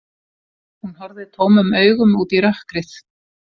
Hún horfði tómum augum út í rökkrið.